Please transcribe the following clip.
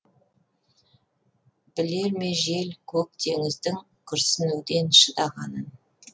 білер ме жел көк теңіздің күрсінумен шыдағанын